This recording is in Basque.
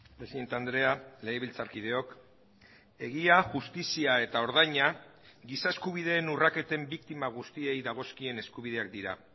presidente andrea legebiltzarkideok egia justizia eta ordaina giza eskubideen urraketen biktima guztiei dagozkien eskubideak dira